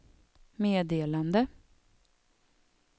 meddelade